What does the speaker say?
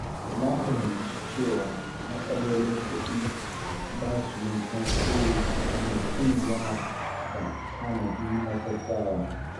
Na fahimci cewa matsalolin kuɗi ba su yin tasiri sosai idan mutum yana da tanadi na gaugawa.